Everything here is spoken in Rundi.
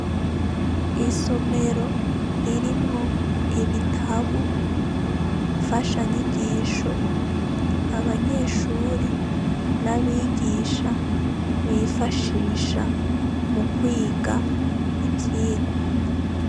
Isomero ririmwo ibitabu nfashanyigisho abanyeshure abigisha bifashisha mu kwiga ivyigwa.